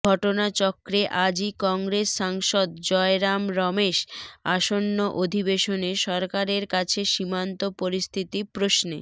ঘটনাচক্রে আজই কংগ্রেস সাংসদ জয়রাম রমেশ আসন্ন অধিবেশনে সরকারের কাছে সীমান্ত পরিস্থিতি প্রশ্নে